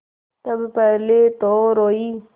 तब पहले तो रोयी